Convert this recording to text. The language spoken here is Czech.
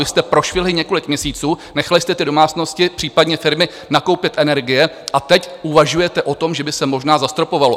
Vy jste prošvihli několik měsíců, nechali jste ty domácnosti, případně firmy nakoupit energie a teď uvažujete o tom, že by se možná zastropovalo.